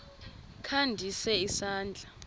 kha ndise isandla